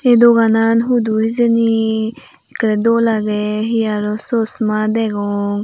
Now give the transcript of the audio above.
ei doganan hudu hijeni ekkrey dol agey he aro chosma degong.